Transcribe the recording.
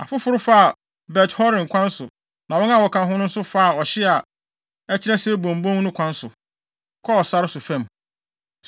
Afoforo faa Bet-Horon kwan so na wɔn a wɔka ho no nso faa ɔhye a ɛkyerɛ Seboim bon no kwan so, kɔɔ sare so fam.